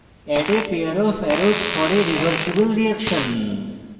add a pair of arrows for a reversible reaction